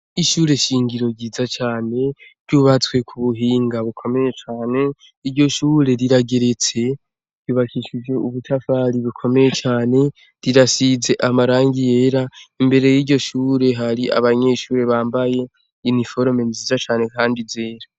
Ishure shingiro ryiza cane ry'ubatswe ku buhinga bukomeye cane iryo shure rirageretse rubakishije ubutafari bukomeye cane rirasize amarangi yera imbere y'iryo shure hari abanyeshure bambaye iniforme nziza cane, kandi zera.